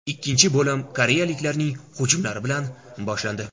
Ikkinchi bo‘lim koreyaliklarning hujumlari bilan boshlandi.